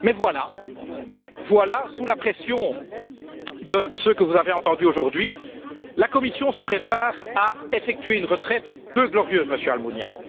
Mais voilà, sous la pression de ce que vous avez entendu aujourd'hui, la Commission se prépare à effectuer une retraite peu glorieuse, Monsieur Almunia.